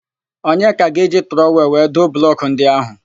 Onyeka ga-eji trọwel wee doo blọkụ ndị áhụ̀.